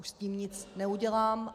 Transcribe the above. Už s tím nic neudělám.